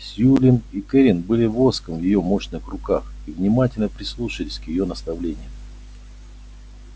сьюлин и кэррин были воском в её мощных руках и внимательно прислушивались к её наставлениям